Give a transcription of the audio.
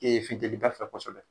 futɛnniba fɛ kosɛbɛ